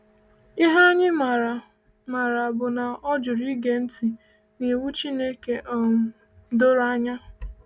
Ihe anyị maara maara bụ na ọ jụrụ ịge ntị n’iwu Chineke um doro anya.